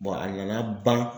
a nana ban.